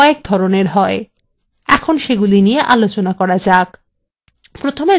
সম্পর্ক কয়েক ধরনের হয় এখন সেগুলি নিয়ে আলোচনা করা যাক